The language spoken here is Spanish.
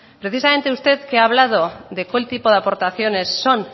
precisamente usted que ha hablado de qué tipo de aportaciones son